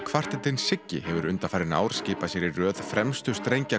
kvartettinn Siggi hefur undanfarin ár skipað sér í röð fremstu